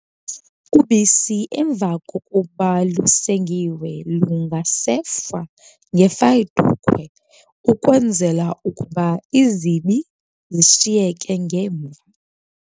Ubisi emva kokuba lusengiwe lungasefwa ngefayidukhwe ukwenzela ukuba izibi zishiyekele ngemva.